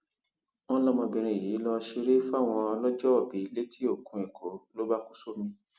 wọn lọmọbìnrin yìí lọọ ṣeré fáwọn ọlọjọòbí létí okùn èkó ló bá kú sómi